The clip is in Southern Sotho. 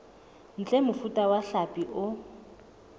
ntle mofuta wa hlapi o